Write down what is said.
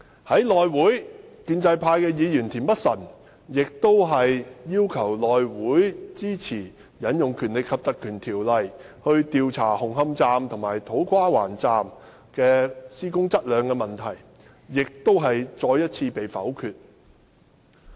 在內會，建制派議員田北辰議員要求內會支持引用《條例》來調查紅磡站和土瓜灣站的施工質量問題，亦再次被否決。